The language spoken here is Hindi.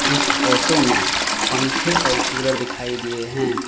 इस फोटो में पंखे और कूलर दिखाई दिए हैं।